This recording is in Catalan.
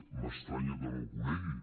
m’estranya que no el conegui